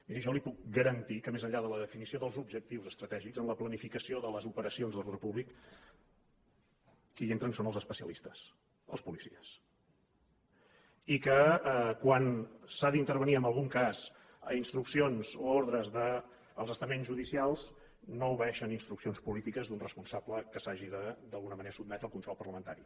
miri jo li puc garantir que més enllà de la definició dels objectius estratègics en la planificació de les operacions d’ordre públic qui hi entren són els especialistes els policies i que quan s’ha d’intervenir en algun cas a instruccions o a ordres dels estaments judicials no obeeixen instruccions polítiques d’un responsable que s’hagi d’alguna manera de sotmetre al control parlamentari